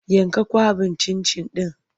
Yanka kwaɓin cin-cin ɗin!